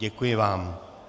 Děkuji vám.